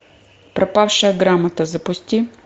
пропавшая грамота запусти